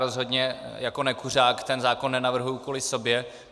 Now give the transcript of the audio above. Rozhodně jako nekuřák ten zákon nenavrhuji kvůli sobě.